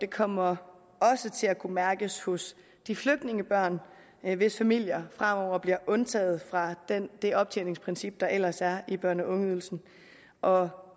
kommer også til at kunne mærkes hos de flygtningebørn hvis familier fremover bliver undtaget fra det optjeningsprincip der ellers er i børne og ungeydelsen og